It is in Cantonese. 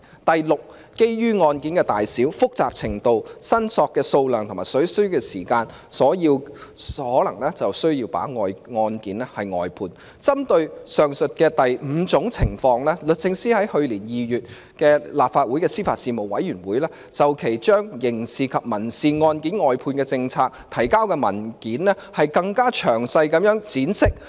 第六，基於案件的大小、複雜程度、申索金額和所需時間而認為有需要把案件外判。針對上述的第五種情況，律政司在去年2月的立法會司法及法律事務委員會，就其將刑事及民事案件的外判政策所提交的文件作出更詳細闡釋。